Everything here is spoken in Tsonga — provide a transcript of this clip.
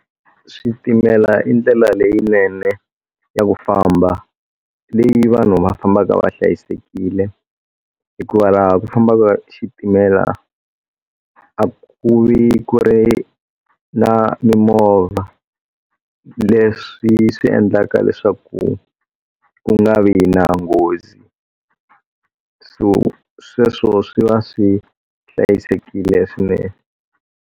Switimela i ndlela leyinene ya ku famba leyi vanhu va fambaka va hlayisekile hikuva laha ku fambaka xitimela a ku ri a ku na mimovha leswi swi endlaka leswaku ku nga vi na nghozi so sweswo swi va swi hlayisekile swinene.